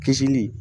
Kisili